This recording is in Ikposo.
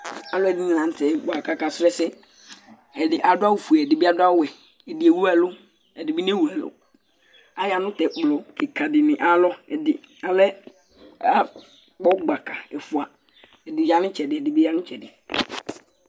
Alʋɛdìní la ntɛ akɔ kʋ akasu ɛsɛ Ɛdí adu awu fʋe Ɛdí ɛwu ɛlu; ɛdí bi newu ɛlu Aya nʋ tu ɛkplɔ kìka di ni ayʋ alɔ Ɛdí alɛ, akpɔ gbaka ɛfʋa Ɛdi ya nu itsɛdi, ɛdí bi ya nʋ itsɛdi